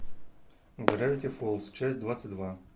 гравити фолз часть двадцать два